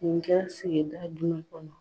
Nin kɛra sigida jumen kɔnɔ ?